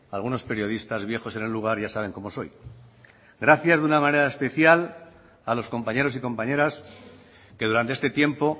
algunos periodistas viejos en el lugar ya saben cómo soy gracias de una manera especial a los compañeros y compañeras que durante este tiempo